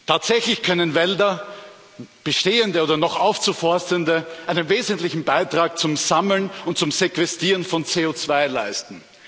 Tatsächlich können Wälder, bestehende oder noch aufzuforstende, einen wesentlichen Beitrag zum Sammeln und zum Sequestrieren von CO2 leisten.